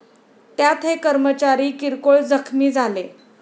त्यात हे कर्मचारी किरकोळ जखमी झाले.